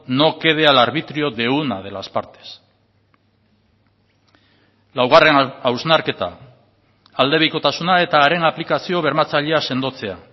no quede al arbitrio de una de las partes laugarren hausnarketa aldebikotasuna eta haren aplikazio bermatzailea sendotzea